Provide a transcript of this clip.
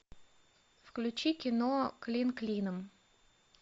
включи кино клин клином